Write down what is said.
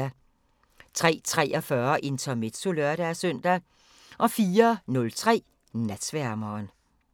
03:43: Intermezzo (lør-søn) 04:03: Natsværmeren